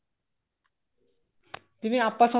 ਜਿਵੇਂ ਆਪਾਂ